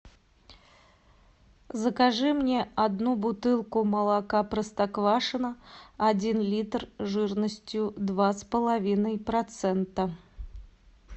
закажи мне одну бутылку молока простоквашино один литр жирностью два с половиной процента